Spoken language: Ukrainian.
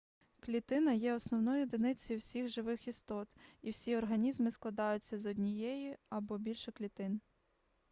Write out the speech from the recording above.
клітина є основною одиницею всіх живих істот і всі організми складаються з однієї або більше клітин